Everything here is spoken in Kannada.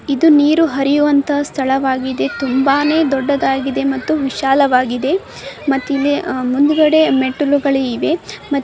ಇದು ನೀರು ಹರಿಯುವಂತ ಸ್ಥಳವಾಗಿದೆ ತುಂಬಾನೆ ದೊಡ್ಡದಾಗಿದೆ ಮತ್ತು ವಿಶಾಲವಾಗಿದೆ ಮತ್ ಇಲ್ಲಿಅ ಮುಂದ್ಗಡೆ ಮೆಟ್ಟುಲುಗಳಿವೆ .